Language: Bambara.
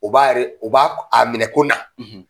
U b'a yɛrɛ , o b'a a minɛ ko na.